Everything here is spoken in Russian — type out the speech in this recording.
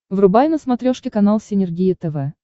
врубай на смотрешке канал синергия тв